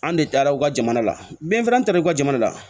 An de taara u ka jamana la be fana taara u ka jamana la